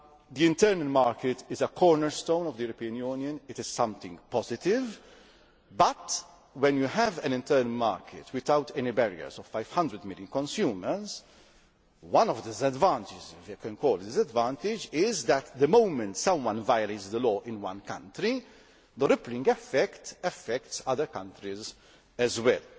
The internal market is a cornerstone of the European Union, it is something positive, but when you have an internal market, without any barriers, of 500 million consumers, one of the disadvantages this can cause is that the moment someone violates a law in one country the ripple effect affects other countries as well.